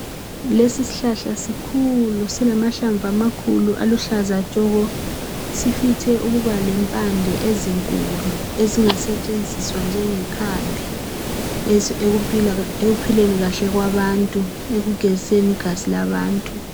Lesi shlahla sikhulu silamahlamvu amakhulu aluhlaza tshoko sifithe ukuba lempande ezinkulu ezingasetshenziswa njengekhambi ekuphileni kahle kwabantu, ekugeziseni igazi labantu